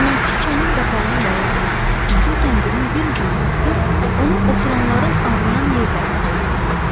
Xidmətçi çənin qapağına bağlanmış üzük kəndirin bir ucundan tutub, onu oturanların ağrıyan yerlərinə dolayırdı.